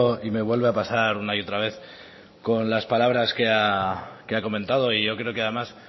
y me vuelve a pasar una y otra vez con las palabras que ha comentado y yo creo que además